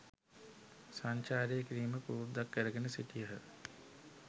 සංචාරය කිරීම පුරුද්දක් කරගෙන සිටියහ.